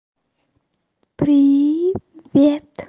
привет